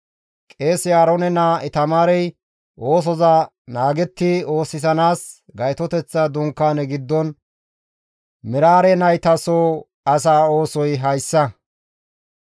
Qeese Aaroone naa Itamaarey oosoza naagetti oosisanaas Gaytoteththa Dunkaane giddon Meraare nayta soo asaa oosoy hayssa.»